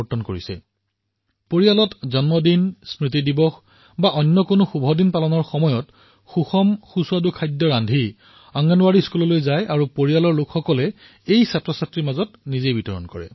পৰিয়ালত কাৰোবাৰ জন্মদিনত কোনো শুভদিনত কোনো স্মৃতি দিৱসত পৰিয়ালৰ লোকে পৌষ্টিক খাদ্য সোৱাদযুক্ত খাদ্য প্ৰস্তুত কৰি অংগনৱাড়ীলৈ যায় বিদ্যালয়লৈ যায় পৰিয়ালৰ লোকে শিশুক নিজে খুৱায়